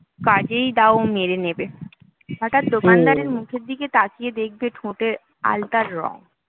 কাজেই দাঁও মেরে নেবে হঠাৎ দোকানদারের মুখের দিকে তাকিয়ে দেখবে ঠোঁটে আলতার রং